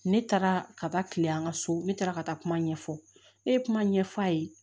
Ne taara ka taa kile an ka so ne taara ka taa kuma ɲɛfɔ ne ye kuma ɲɛf'a ye